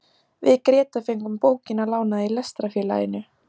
Við Grétar fengum bókina lánaða í Lestrarfélaginu.